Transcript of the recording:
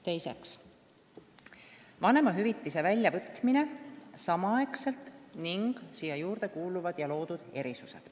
Teiseks, vanemate vanemahüvitise väljavõtmine samaaegselt ning selle juurde kuuluvad erisused.